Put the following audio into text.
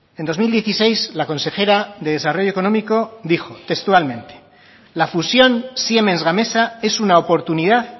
en dos mil dieciséis la consejera de desarrollo económico dijo textualmente la fusión siemens gamesa es una oportunidad